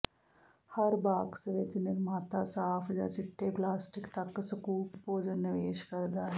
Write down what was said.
ਹਰ box ਵਿੱਚ ਨਿਰਮਾਤਾ ਸਾਫ ਜ ਚਿੱਟੇ ਪਲਾਸਟਿਕ ਤੱਕ ਸਕੂਪ ਭੋਜਨ ਨਿਵੇਸ਼ ਕਰਦਾ ਹੈ